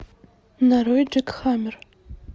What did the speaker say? нарой джек хаммер